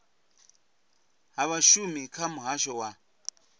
ha vhashumi kha muhasho wa